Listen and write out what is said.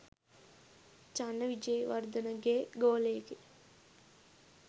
චන්න විජේවර්ධනගේ ගෝලයෙකි.